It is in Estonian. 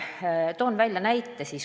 Toon näite.